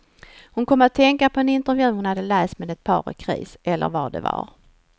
Hon kom att tänka på en intervju hon hade läst med ett par i kris, eller vad det var.